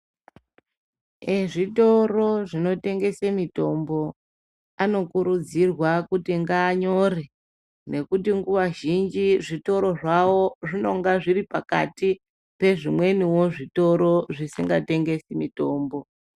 Ezvitoro zvinotengese mitombo anokurudzirwa kuti ngaanyore nekuti nguwa zhinji zvitoro zvawo zvinonga zviri pakati pezvimweniwo zvitoro zvisingatengesi mitombo.